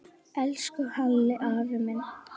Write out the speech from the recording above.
Elsku Halli afi minn.